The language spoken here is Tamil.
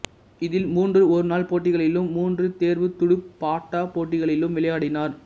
இதில் மூன்று ஒருநாள் போட்டிகளிலும் மூன்று தேர்வுத் துடுப்பாட்டப் போட்டிகளிலும் விளையாடினார்